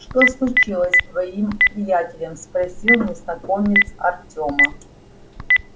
что случилось с твоим приятелем спросил незнакомец артема